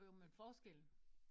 Jo jo men forskellen